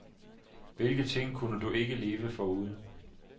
Hvilken ting kunne du ikke leve foruden?